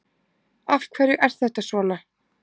Af hverju er þetta svona?